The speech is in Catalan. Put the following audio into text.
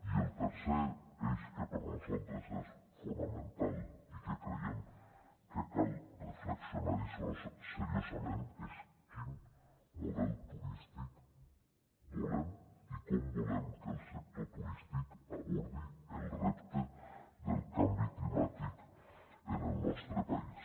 i el tercer eix que per nosaltres és fonamental i que creiem que cal reflexionar hi seriosament és quin model turístic volem i com volem que el sector turístic abordi el repte del canvi climàtic en el nostre país